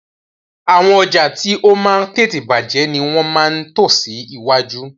Àwọn ọjà tí ó máa ń tètè bàjẹ́ ni wọ́n máa ń tò sí iwájú